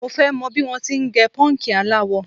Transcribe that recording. Mo fẹ́ mọ̀ bí wọ́n ti ń gẹ pọ́ǹkì aláwọ.